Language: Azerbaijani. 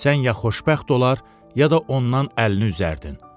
Sən ya xoşbəxt olar, ya da ondan əlini üzərdin.